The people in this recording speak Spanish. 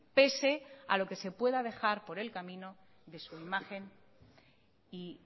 pese a lo que se pueda dejar por el camino de su imagen y